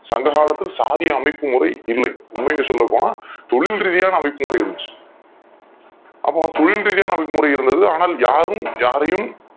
சங்க காலத்தின் சாதி அமைப்பு முறை இல்ல உண்மைகள் சொல்ல போனா தொழில்ரிதியான அமைப்பு முறை இருந்துச்சி அப்போ தொழில்ரிதியான அமைப்பு முறை இருந்தது அனால் யாரும் யாரையும்